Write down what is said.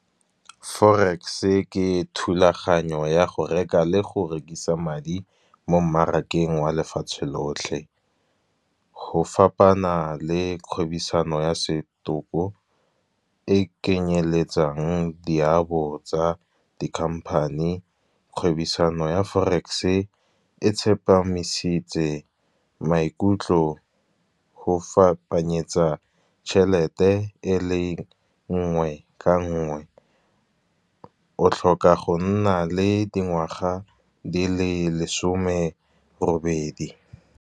Forex-e ke thulaganyo ya go reka le go rekisa madi mo mmarakeng wa lefatshe lotlhe. Go fapana le kgwebisano ya setopo e kenyeletsang diabo kgotsa di-company. Kgwebisano ya forex-e e tsepamisitse maikutlo go fapanyetsa tšhelete, e le nngwe ka nngwe o tlhoka go nna le dingwaga di le lesome robedi.